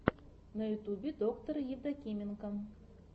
на ютюбе доктор евдокименко